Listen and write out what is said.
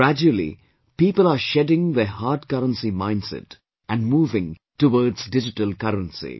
Gradually, people are shedding their hard currency mindset and moving towards digital currency